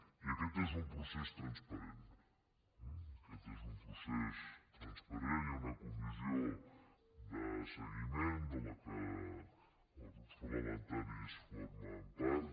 i aquest és un procés transparent eh aquest és un procés transparent hi ha una comissió de segui·ment de la qual els grups parlamentaris formen part